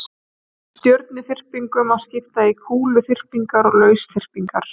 Stjörnuþyrpingum má skipta í kúluþyrpingar og lausþyrpingar.